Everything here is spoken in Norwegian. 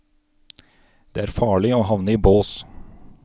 Det er farlig å havne i bås.